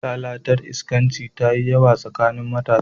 Lalatar iskanci tafi yawa a tsakanin matasa.